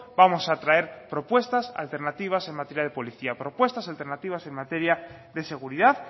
vamos a traer propuestas alternativas en materia de policía propuestas alternativas en materia de seguridad